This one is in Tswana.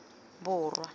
borwa